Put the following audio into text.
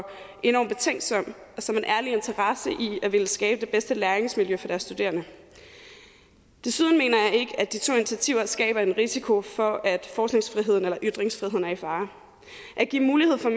enorm betænksom og som en ærlig interesse i at ville skabe det bedste læringsmiljø for deres studerende desuden mener jeg at de to initiativer skaber en risiko for at forskningsfriheden eller ytringsfriheden er i fare at give mulighed for